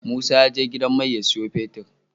Musa ya je gidan mai ya siya fetir